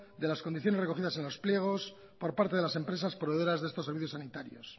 de las condiciones recogidas en los pliegos por parte de las empresas proveedoras de estos servicios sanitarios